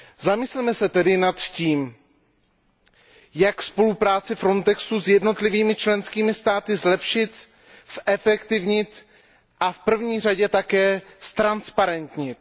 Zamysleme se tedy nad tím, jak spolupráci Frontexu s jednotlivými členskými státy zlepšit, zefektivnit a v první řadě také učinit transparentnější.